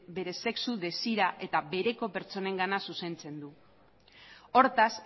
bere sexu desira eta bereko pertsonengana zuzentzen du hortaz